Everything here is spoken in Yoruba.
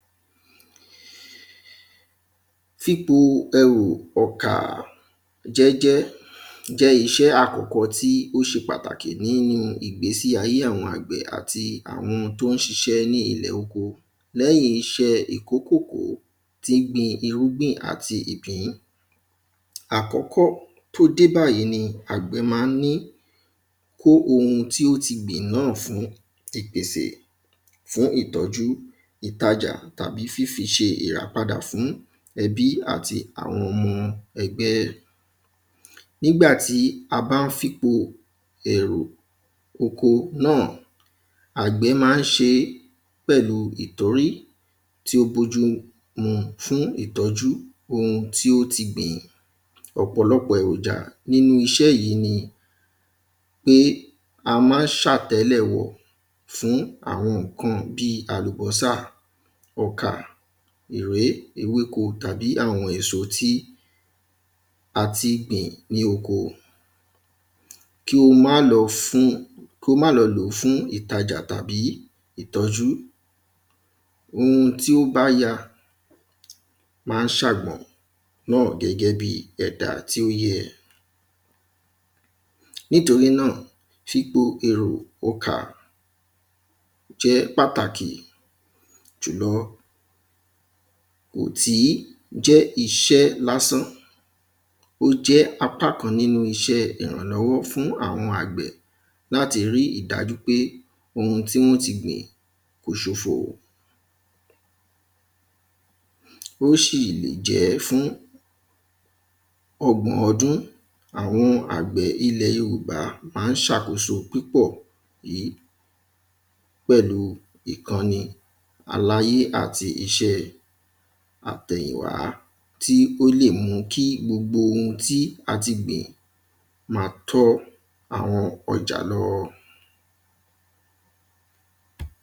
Fipo èrò ọkà jẹ́jẹ́, jẹ́ iṣẹ́ àkọ́kọ́ tí ó ṣe pàtàkì nínu ìgbésí ayé àwọn àgbẹ̀ àti àwọn tó ń ṣiṣẹ́ ní ilẹ̀ oko. Lẹ́yìn iṣẹ́ ìkó kòkó tí gbin irúgbìn àti ìpín, àkọ́kọ́ tó dẹ́ báyìí ni àgbẹ̀ ma ń ni kó oun tó ti gbìn náà fún ìpèsè fún ìtọ́jú, ìtajà tàbí fífiṣe ìràpadà fún ẹbí àti àwọn ọmọ ẹgbẹ́. Nígbà tí a bá ń fipo èrò oko náà, àgbẹ̀ ma ń ṣe é pẹ̀lú ìtórí, tí ó bójú mu fún ìtọ́jú oun tí ó ti gbìn. Ọ̀pọ̀lọpọ̀ èròjà nínu iṣẹ́ yìí ni pé, a má ń ṣàtẹ́lẹ̀wọ̀ fún àwọn ǹkan bí àlùbọ́sà, ọkà,, ewéko tàbí àwọn èso tí a ti gbìn ní oko. Kí o má lọ fún, o má lọ lòó fún ìtajà tàbí ìtọ́jú, oun tí ó bá ya má ń sàgbọ̀n náà gẹ́gẹ́ bi ẹ̀dá tí ó yẹ. Nítorí náà, fipo èrò ọkà jẹ́ pàtàkì jùlọ, ò tí jẹ́ iṣẹ́ lásán, ó jẹ́ apá kan nínu iṣẹ́ ìrànlọ́wọ́ fún àwọn àgbẹ̀ láti rí ìdájú pé oun tí wọ́n ti gbìn kò ṣòfò. Ó sì lè jẹ́ fún ọgbọ̀n ọdún, àwọn àgbẹ̀ ilẹ̀ Yorùbá má ń ṣàkóso púpọ̀ yí, pẹ̀lúu ìkanni aláyé àti iṣẹ́ àtẹ̀yìnwá, tí ó lè mú kí gbogbo oun tí a ti gbìn ma tó àwọn ọjà lọ́wọ́.